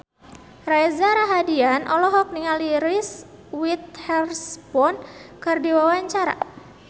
Reza Rahardian olohok ningali Reese Witherspoon keur diwawancara